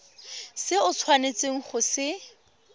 se o tshwanetseng go se